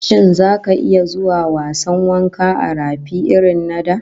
Shin zaka iya zuwa wasan wanka a rafi irrin na da?